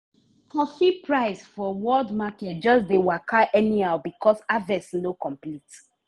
coffee price for world market just dey waka anyhow because harvest no complete.